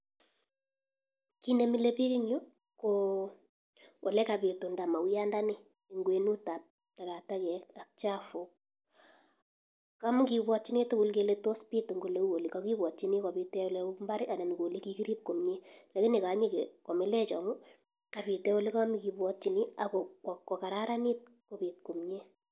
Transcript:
Kit ne mile biik eng yu ko olegapitunda mauyandani eng kwenutab tagatagek ak chafuk. Kamagibwatyini tugul kele tos pit eng ole u yu, kagibwatyini kopit eng ole u imbar ii anan ko ole kugirib komie. Lakini kanyeke, komilech amu kapit eng olekamagibwatyini ak ko kokararanit kopit komie.